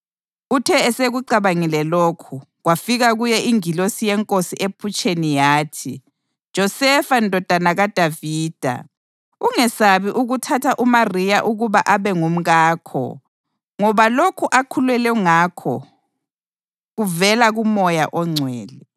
Uthe esekucabangile lokhu, kwafika kuye ingilosi yeNkosi ephutsheni yathi, “Josefa ndodana kaDavida, ungesabi ukuthatha uMariya ukuba abe ngumkakho ngoba lokhu akhulelwe ngakho kuvela kuMoya oNgcwele.